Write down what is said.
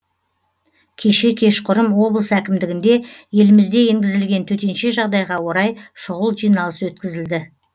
кеше кешқұрым облыс әкімдігінде елімізде енгізілген төтенше жағдайға орай шұғыл жиналыс өткізілді